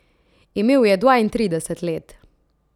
Imel je dvaintrideset let.